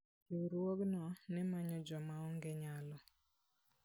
Riwruogno ne manyo joma onge nyalo.